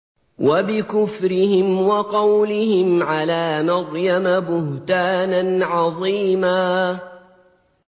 وَبِكُفْرِهِمْ وَقَوْلِهِمْ عَلَىٰ مَرْيَمَ بُهْتَانًا عَظِيمًا